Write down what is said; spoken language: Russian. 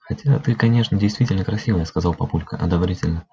хотя ты конечно действительно красивая сказал папулька одобрительно